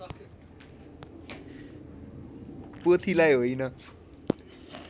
पोथीलाई होइन